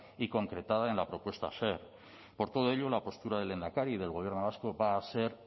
y concretada en la propuesta a hacer por todo ello la postura del lehendakari y del gobierno vasco va a ser